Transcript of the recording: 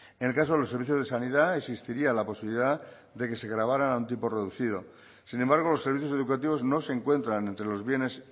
en el caso de los servicios de sanidad existiría la posibilidad de que se grabaran a un tipo reducido sin embargo los servicios educativos no se encuentran entre los bienes